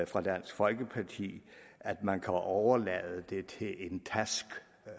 fra dansk folkepartis side at man kan overlade det til en